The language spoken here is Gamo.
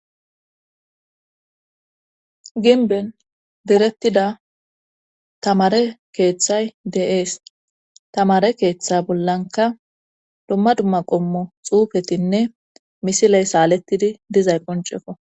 ginben direttida tamare keeththay de7ees tamare keeththa bollanka dumma dumma qommo xuufetinne misiley saalettidi dizay qoncekko